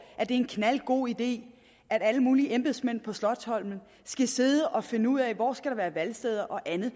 er en knaldgod idé at alle mulige embedsmænd på slotsholmen skal sidde og finde ud af hvor der skal være valgsteder og andet